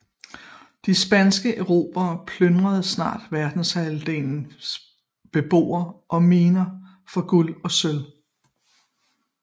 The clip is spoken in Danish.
De spanske erobrere plyndrede snart verdensdelens beboere og miner for guld og sølv